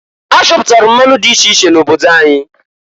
A chọpụtalụ mmanụ di iche iche n' obodo anyị.